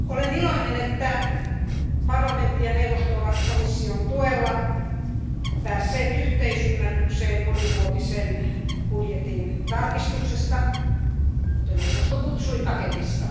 Arvoisa puhemies, olen iloinen, että parlamentti ja neuvosto ovat komission tuella päässeet yhteisymmärrykseen monivuotisen budjetin tarkistuksesta tai kuten neuvosto kutsui paketista.